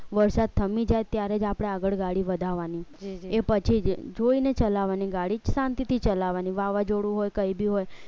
વરસાદ થામી જાય ત્યારે જ આપણે આગળ ગાડી વધારવાની એ પછી જોઈને ચલાવવાની ગાડી જ શાંતિથી ચલાવવાની વાવાઝોડું હોય કઈ બી હોય